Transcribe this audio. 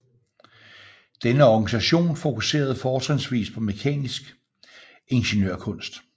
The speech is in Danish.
Denne organisation fokuserede fortrinsvist på mekanisk ingeniørkunst